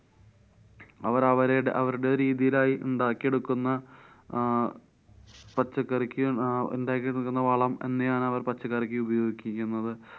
അവര്‍ അവരെ അവര്‍ടെ രീതിയിലായി ഉണ്ടാക്കിയെടുക്കുന്ന അഹ് പച്ചക്കറിക്ക് അഹ് ഇണ്ടാക്കിയെടുക്കുന്ന വളം ന്നെയാണ് അവര്‍ പച്ചക്കറിക്ക് ഉപയോഗിക്കുന്നത്.